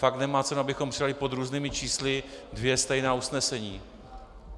Fakt nemá cenu, abychom přijali pod různými čísly dvě stejná usnesení.